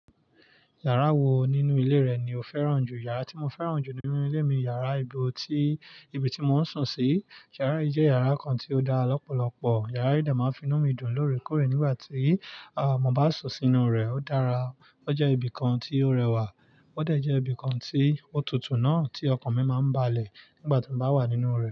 Yàrá wo nínú ilé rẹ ni o fẹ́ràn jù? Yàrá tí mo fẹ́ràn jù nínú ilé mi ni yàrá ibo tí, ibi tí mò ń sùn sí. Yàrá yìí jẹ́ yàrá kan tí ó dá lọ́pọ̀lọpọ̀. Yàrá yìí dà máa ń fi inú mi dùn lóòrèkóòrè nígbà tí, à, mo bá sùn sínú rẹ̀. Ó dára, ó jẹ́ ibi kan tí ó rẹwà, ó dẹ̀ jẹ́ ibi kan tí ó tutù náà, tí ọkàn mi máa ń balẹ̀ nígbà tí mo bá wà nínú rẹ̀.